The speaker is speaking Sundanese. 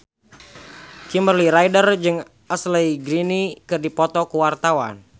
Kimberly Ryder jeung Ashley Greene keur dipoto ku wartawan